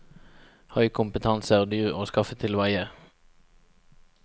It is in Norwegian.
Høy kompetanse er dyr å skaffe til veie.